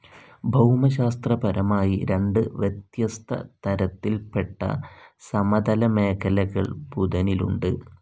ഭൗമശാസ്ത്രപരമായി രണ്ട് വ്യത്യസ്ത തരത്തിൽപ്പെട്ട സമതല മേഖലകൾ ബുധനിലുണ്ട്.